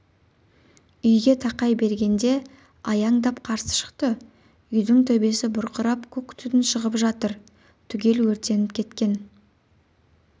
үйге тақай бергенде аяңдап қарсы шықты үйдің төбесі бұрқырап көк түтін шығып жатыр түгел өртеніп кеткен